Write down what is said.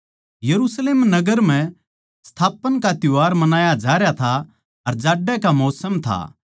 यरुशलेम नगर म्ह संस्थापन का त्यौहार मणाया जारया था अर जाड्यां का मौसम था